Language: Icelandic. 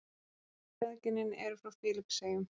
Þau feðginin eru frá Filippseyjum.